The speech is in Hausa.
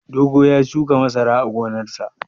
Dogo ya shuka masara a gonarsa.